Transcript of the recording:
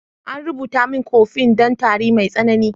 An rubuta min "coffin " don tari mai tsanani.